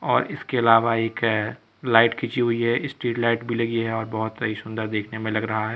और इसके अलावा एक लाइट खींची हुई है। स्ट्रीट लाइट भी लगी है और बहुत सही सुंदर देखने में लग रहा है।